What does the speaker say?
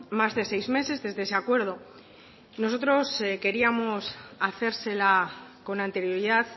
más de seis meses desde ese acuerdo nosotros queríamos hacérsela con anterioridad